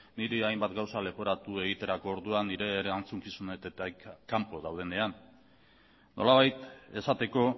niri hainbat gauza leporatu egiterako orduan nire erantzukizunetatik kanpo daudenean nolabait esateko